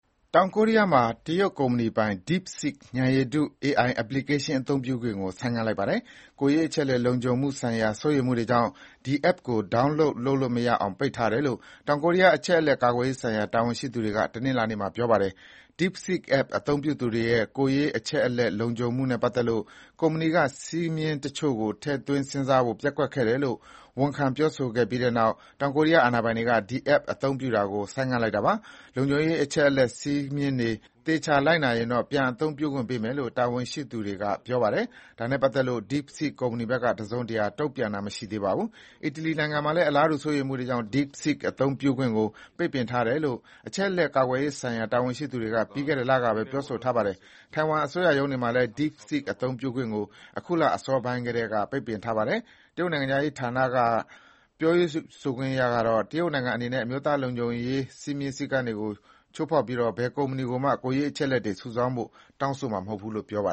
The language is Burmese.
တောင်ကိုရီးယားမှာ တရုတ်ကုမ္ပဏီပိုင် DeepSeek ဉာဏ်ရည်တု AI အပလီကေးရှင်းသုံးခွင့်ကို ဆိုင်းငံ့လိုက်ပါတယ်။ ကိုယ်ရေးအချက်အလက် လုံခြုံမှုဆိုင်ရာစိုးရိမ်မှုတွေကြောင့် ဒီ app ကို download လုပ်လို့မရအောင်ပိတ်ထားတယ်လို့ တောင်ကိုရီးယား အချက်အလက်ကာကွယ်ရေးဆိုင်ရာ တာဝန်ရှိသူတွေက တနင်္လာနေ့မှာပြောတာပါ။ DeepSeek app အသုံးပြုသူတွေရဲ့ ကိုယ်ရေးအချက်အလက်လုံခြုံမှုနဲ့ပတ်သက်လို့ ကုမ္ပဏီက စည်းမျဉ်း တချို့ကို ထည့်စဉ်းစားဖို့ပျက်ကွက်ခဲ့တယ်လို့ ဝန်ခံခဲ့ပြီးနောက် တောင်ကိုရီးယား အာဏာပိုင်တွေက ဒီ app အသုံးပြုတာကို ဆိုင်းငံ့လိုက်တာပါ။ လုံခြုံရေးအချက်အလက်စည်းမျဉ်းတွေ သေချာလိုက်နာ ရင်တော့ ပြန်သုံးခွင့်ပေးမယ်လို့ တာဝန်ရှိသူတွေကပြောပါတယ်။ ဒါနဲ့ ပတ်သက်လို့ DeepSeek ကုမ္ပဏီဘက်က တစုံတရာတုံ့ပြန်တာမရှိသေးပါဘူး။ အီတလီနိုင်ငံမှာလည်း အလားတူစိုးရိမ်မှုတွေကြောင့် DeepSeek အသုံးပြုခွင့်ကို ပိတ်ပင်ထားတယ်လို့ အချက်အလက်ကာကွယ်ရေးဆိုင်ရာ တာဝန်ရှိသူတွေက ပြီးခဲ့တဲ့လကပဲပြောဆိုထားပါတယ်။ တိုင်ဝမ် အစိုးရရုံးတွေမှာလည်း DeepSeek အသုံးပြုခွင့်ကို အခုလအစောပိုင်းကတည်းက ပိတ်ပင်ထားပါတယ်။ တရုတ်နိုင်ငံခြားရေးဌာနပြောခွင့်ရကတော့ တရုတ်နိုင်ငံအနေနဲ့ အမျိုးသားလုံခြုံရေးစည်းကမ်းတွေကို ချိုးဖောက်ပြီးတော့ ဘယ်ကုမ္မဏီကိုမှ ကိုယ်ရေးအချက်အလက်တွေ စုဆောင်းပေးဖို့ တောင်းဆိုမှာမဟုတ်ဘူးလို့ ပြောထားပါ